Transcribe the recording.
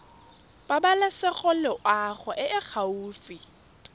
pabalesego loago e e gaufi